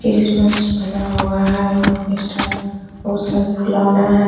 Christmas बना हुआ है वहां पे स्टार बहुत सारा फुलोना है।